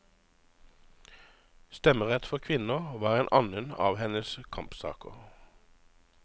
Stemmerett for kvinner var en annen av hennes kampsaker.